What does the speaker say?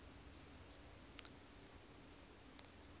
gov new form coid